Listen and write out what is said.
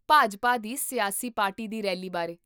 ਭਾਜਪਾ ਦੀ ਸਿਆਸੀ ਪਾਰਟੀ ਦੀ ਰੈਲੀ ਬਾਰੇ